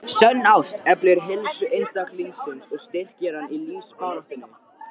Sönn ást eflir heilsu einstaklingsins og styrkir hann í lífsbaráttunni.